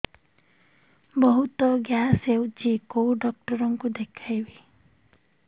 ବହୁତ ଗ୍ୟାସ ହଉଛି କୋଉ ଡକ୍ଟର କୁ ଦେଖେଇବି